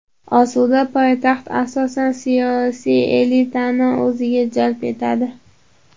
Osuda poytaxt asosan siyosiy elitani o‘ziga jalb etadi.